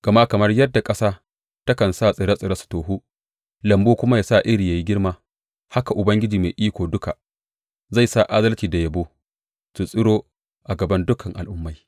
Gama kamar yadda ƙasa takan sa tsire tsire su tohu lambu kuma ya sa iri ya yi girma, haka Ubangiji Mai Iko Duka zai sa adalci da yabo su tsiro a gaban dukan al’ummai.